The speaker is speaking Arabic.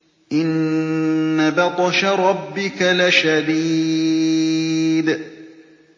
إِنَّ بَطْشَ رَبِّكَ لَشَدِيدٌ